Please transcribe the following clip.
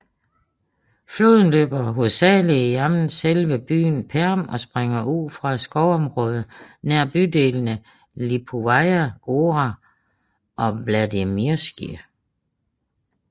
Floden løber hovedsageligt gennem selve byen Perm og springer ud fra et skovområde nær bydelene Lipovaja Gora og Vladimirskiij